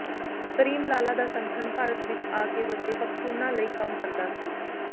cream Lala ਦਾ ਸੰਗਠਨ ਭਾਰਤ ਵਿੱਚ ਆ ਕੇ ਵਸੇ ਪਖ਼ਤੂਨਾਂ ਲਈ ਕੰਮ ਕਰਦਾ ਸੀ